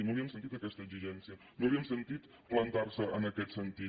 no la hi hem sentida aquesta exigència no l’hem sentit plantar se en aquest sentit